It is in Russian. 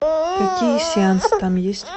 какие сеансы там есть